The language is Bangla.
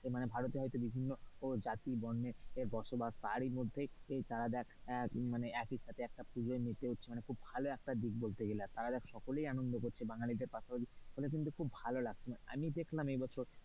এ ভারতে হয়তো বিভিন্ন জাতি জাতি বর্ণের বসবাস তারই মধ্যেই একই সাথে একটা পুজোয় তারা দেখ মেতে উঠছে মানে খুব ভালো দিক বলতে গেলে একটা দেখ তারা সকলেই আনন্দ করছে বাঙালিদের পাশাপাশি ফলে কিন্তু ভালো লাগছে, আমি দেখলাম এবছর,